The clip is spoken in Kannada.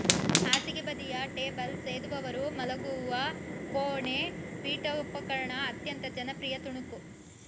ಹಾಸಿಗೆಬದಿಯ ಟೇಬಲ್ ಸೇದುವವರು ಮಲಗುವ ಕೋಣೆ ಪೀಠೋಪಕರಣ ಅತ್ಯಂತ ಜನಪ್ರಿಯ ತುಣುಕು